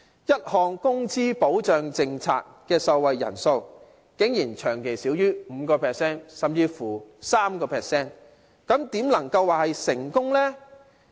一項工資保障政策的受惠人數竟然長期少於 5%， 甚至是 3%， 怎能夠說是成功呢？